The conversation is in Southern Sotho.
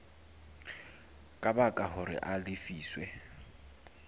ka baka hore a lefiswe